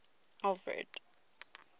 alfred